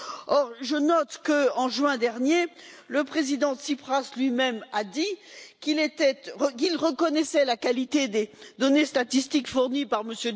Or, je note qu'en juin dernier, le président Tsipras lui même a dit qu'il reconnaissait la qualité des données statistiques fournies par M.